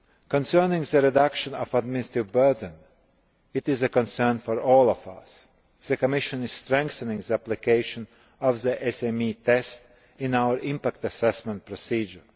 Concerning the reduction of the administrative burden, this is a concern for all of us. The Commission is strengthening the application of the SME test in our impact assessment procedure.